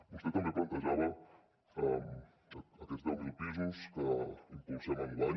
vostè també plantejava aquests deu mil pisos que impulsem enguany